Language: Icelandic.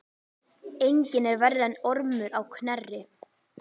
Enginn er verri en Ormur á Knerri.